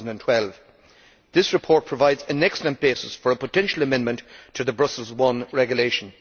2012. This report provides an excellent basis for a potential amendment to the Brussels I regulation.